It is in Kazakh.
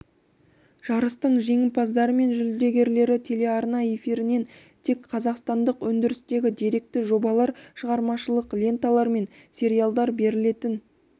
жарыстың жеңімпаздары мен жүлдегерлері телеарна эфирінен тек қазақстандық өндірістегі деректі жобалар шығармашылық ленталар мен сериалдар берілетін